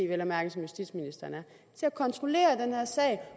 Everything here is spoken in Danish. vel at mærke som justitsministeren er til at kontrollere den her sag